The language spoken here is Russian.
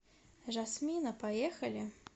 жасмина поехали